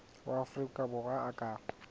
wa afrika borwa a ka